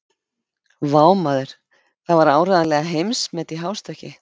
Vá, maður, það var áreiðanlega heimsmet í hástökki.